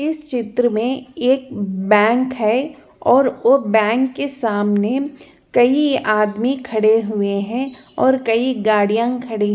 इस चित्र मे एक बैंक है और ओ बैंक के सामने कई आदमी खड़े हुए है और कई गाड़िया भी --